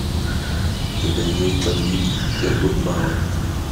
у тебя есть бандитский петербург барон